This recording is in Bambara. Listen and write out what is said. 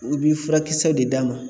U bi furakisɛw de d'a ma.